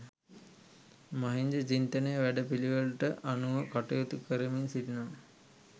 මහින්ද චින්තන වැඩපිළිවෙළට අනුව කටයුතු කරමින් සිටිනවා